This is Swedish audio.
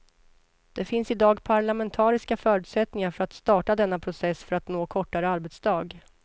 Det finns i dag parlamentariska förutsättningar för att starta denna process för att nå kortare arbetsdag.